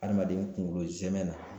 Adamaden kunkolo zɛmɛ na